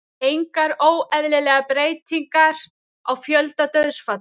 Engar óeðlilegar breytingar á fjölda dauðsfalla